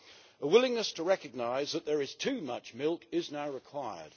A willingness to recognise that there is too much milk is now required.